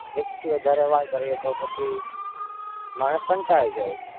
એક થી વધારે વાર કરીએ તો પછી માણસ કંટાળી જાય.